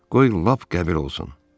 Qoy lap qəbir olsun.